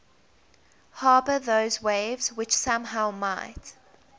harbour those waves which somehow might